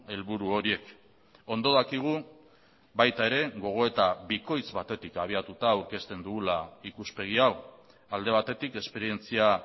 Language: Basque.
helburu horiek ondo dakigu baita ere gogoeta bikoitz batetik abiatuta aurkezten dugula ikuspegi hau alde batetik esperientzia